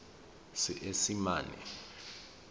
seesimane